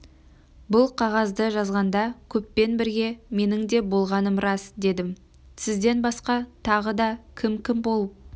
бұл қағазды жазғанда көппен бірге менің де болғаным рас дедім сізден басқа тағы да кім-кім болып